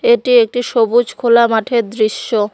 এটি একটি সবুজ খোলা মাঠের দৃশ্য।